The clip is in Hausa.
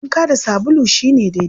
Wanka da sabulu shi ne daidai.